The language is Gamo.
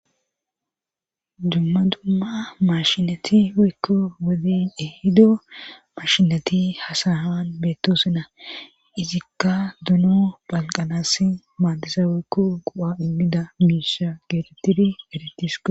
Dumma dumma mashinati weykko wodin ehido mashinati hasaan beettosina izikka duno balqanas maadisa weykko qu'a immida miisha geetettiri eretiske